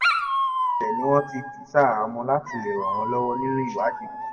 lójú-ẹsẹ̀ ni wọ́n ti jù ú ṣaháàámọ̀ láti lè ràn wọ́n lọ́wọ́ nínú ìwádìí wọn